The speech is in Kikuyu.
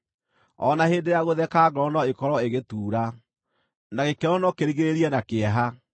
O na hĩndĩ ya gũtheka ngoro no ĩkorwo ĩgĩtuura, na gĩkeno no kĩrigĩrĩrie na kĩeha.